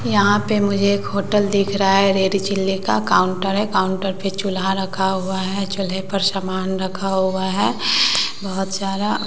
यहां पे मुझे एक होटल दिख रहा है रेड चिली का काउंटर है काउंटर पे चूल्हा रखा हुआ है चूल्हे पर समान रखा हुआ है बहोत सारा।